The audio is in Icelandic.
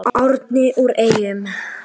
Ljóð: Árni úr Eyjum